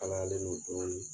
Al' a le n'o don in ye